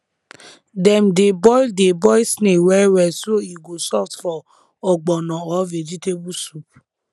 dem dey boil dey boil snail well well so e go soft for ogbono or vegetable soup